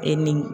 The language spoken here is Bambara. E ni